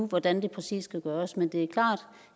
hvordan det præcis skal gøres men det er klart